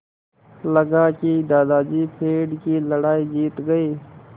लगा कि दादाजी पेड़ की लड़ाई जीत गए